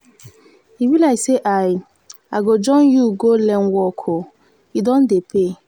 e be like say i i go join you go learn work oo e don dey pay.